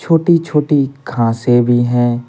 छोटी-छोटी घासें भी हैं।